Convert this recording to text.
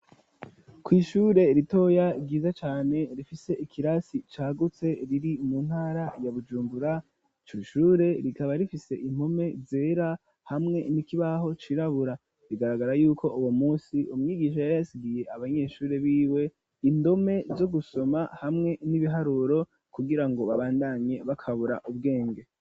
Kw'ishure ritoya ryiza cane rifise ikirasi cagutse riri mu ntara ya bujumbura, iryo shure rikaba rifise impome zera hamwe n'ikibaho cirabura bigaragara yuko uwo munsi umyigisha yari yasigiye abanyeshure b'iwe indome zo gusoma hamwe n'ibiharuro kugira ngo babandanye bakabura ubwenge.